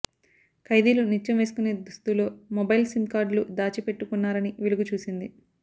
ఖైదీలు నిత్యం వేసుకునే దుస్తులో మొబైల్ సిమ్ కార్డులు దాచి పెట్టుకున్నారని వెలుగు చూసింది